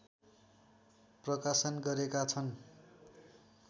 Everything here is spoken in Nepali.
प्रकाशन गरेका छन्